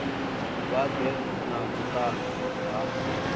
vha ḓe na vhuṱanzi ha